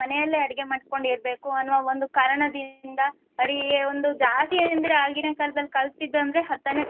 ಮನೆಯಲ್ಲೇ ಅಡಿಗೆ ಮಾಡ್ಕೊಂಡಿರ್ಬೇಕು ಅನ್ನುವ ಒಂದು ಕಾರಣದಿಂದ ಅವರಿಗೆ ಒಂದು ಜಾಸ್ತಿ ಏನಂದ್ರೆ ಆಗಿನ ಕಾಲದಲ್ಲಿ ಕಲ್ತಿತ್ದಂದ್ರೆ ಹತ್ತನೇ